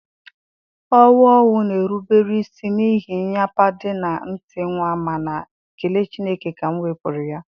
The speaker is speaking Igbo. owu owu na-erubere isi n'ihe nnyapade na nti nwa, mana ekele Chineke ka m wepuru ya.